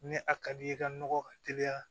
Ni a ka di ye i ka nɔgɔ ka teliya